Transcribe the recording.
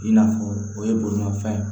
I n'a fɔ o ye bolimafɛn ye